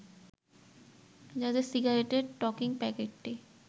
যাতে সিগারেটের টকিং প্যাকেটটি